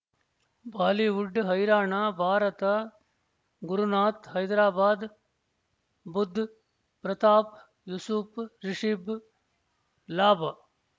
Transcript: Bollywood ಹೈರಾಣ ಭಾರತ ಗುರುನಾಥ್ ಹೈದರಾಬಾದ್ ಬುಧ್ ಪ್ರತಾಪ್ ಯೂಸುಫ್ ರಿಷಬ್ ಲಾಭ್